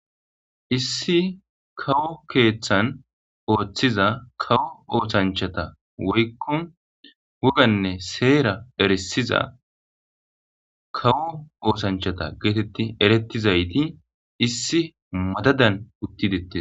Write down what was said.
Issi kawo keeththan ooththiza kawo ooshanchata woykko woganne seera eresiza kawo ooshanchata geetetti erettizayti issi madadan uttidettes.